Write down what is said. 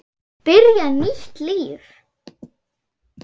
Byrja nýtt líf.